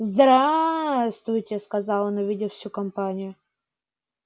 здраствуйте сказал он увидев всю компанию